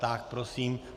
Tak prosím.